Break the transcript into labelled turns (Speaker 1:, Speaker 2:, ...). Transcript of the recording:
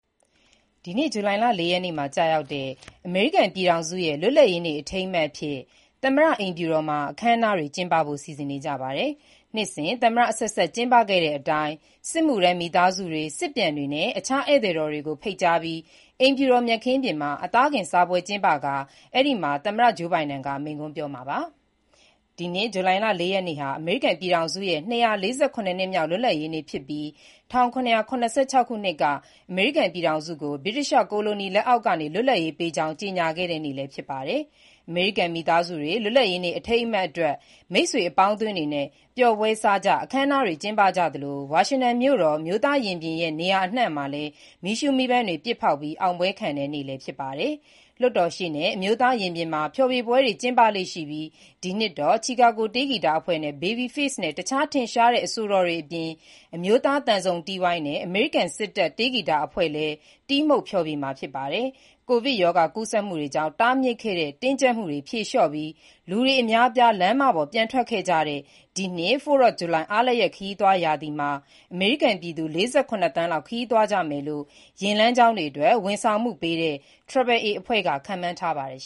Speaker 1: ဒီနေ့ ဇူလိုင် ၄ ရက် ကျရောက်တဲ့ အမေရိကန်ပြည်ထောင်စုရဲ့ လွတ်လပ်ရေးနေ့ အထိမ်းအမှတ် သမ္မတအိမ်ဖြူတော်မှာ အခမ်းအနားတွေ ကျင်းပဖို့ စီစဉ်နေပါတယ်။ နှစ်စဉ် သမ္မတအဆက်ဆက် ကျင်းပခဲ့တဲ့အတိုင်း စစ်မှုထမ်း မိသားစုတွေ၊ စစ်ပြန်စစ်မှုထမ်းတွေနဲ့ တခြား ဧည့်သည်တော်တွေ ဖိတ်ကြားပြီး အိမ်ဖြူတော် မြက်ခင်းပြင်မှာ အသားကင် စားကြသလို သမ္မတ Joe Biden လည်းမိန့်ခွန်းပြောဖို့ စီစဉ်ထားပါတယ်။ ဒီနှစ် ဇူလိုင်လ ၄ ရက်နေ့ဟာ အမေရိကန်ပြည်ထောင်စုရဲ့ ၂၄၇ နှစ်မြောက် လွတ်လပ်ရေးနေ့ဖြစ်ပြီး ၁၇၇၆ ခုနှစ်က အမေရိကန်ပြည်ထောင်စု ဗြိတိသျှကိုလိုနီလက်အောက်က လွတ်လပ်ရေး ကြေညာခဲ့တဲ့နေ့ ဖြစ်ပါတယ်။ အမေရိကန် မိသားစုတွေ လွတ်လပ်ရေးနေ့ အထိမ်းအမှတ် မိတ်ဆွေအပေါင်းအသင်းတွေနဲ့ ပျော်ပွဲစားကြ၊ အခမ်းအနားတွေ ကျင်းပကြသလို ဝါရှင်တန်မြို့တော် အမျိုးသားရင်ပြင်နဲ့ နေရာအနှံ့ မီးရှုးမီးပန်းတွေ ပစ်ဖေါက်ပြီး အောင်ပွဲခံတဲ့နေလည်း ဖြစ်ပါတယ်။ လွတ်တော်ရှေ့နဲ့ အမျိုးသားရင်ပြင်မှာ ဖျော်ဖြေပွဲတွေ ကျင်းပလေ့ရှိပြီး ဒီနှစ်တော့ Chicago တေးဂီတအဖွဲ့၊ Babyface နဲ့ တခြား ထင်ရှားတဲ့ အဆိုတော်အပြင် အမျိုးသား သံစုံတီးဝိုင်းနဲ့ အမေရိကန် စစ်တပ် တေးဂီတအဖွဲ့လည်း တီးမှုတ်ဖျော်ဖြေမှာ ဖြစ်ပါတယ်။ ကိုဗစ်ရောဂါ ကူးစက်မှုတွေကြောင့် တားမြစ်ခဲ့တဲ့ တင်းကြပ်မှုတွေ ဖြေလျှော့ပြီး လူတွေ အများအပြား လမ်းမပေါ်ပြန်ထွက်ကြတဲ့ ဒီနှစ် 4th of July အားလပ်ရက် ခရီးသွားရာသီမှာ အမေရိကန် ပြည်သူ ၄၇ သန်းလောက် ခရီးသွားကြမယ်လို့ လမ်းမှာ မော်တော်ယာဉ်တွေအတွက် ဝန်ဆောင်မှုပေးတဲ့ AAA က ခန့်မှန်းထားပါတယ်